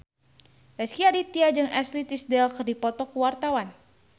Rezky Aditya jeung Ashley Tisdale keur dipoto ku wartawan